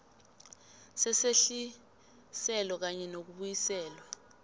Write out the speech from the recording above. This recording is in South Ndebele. sesehliselo kanye nokubuyiselwa